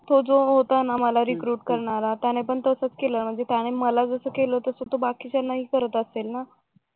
तो जो होता ना मला रिक्रूट करणारा त्यानं पण तसच केलं म्हणजे त्याने मला जस केलं तसं बाकीच्यांना पण करत असेल ना